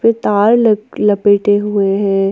पे तार लप लपेटे हुए है।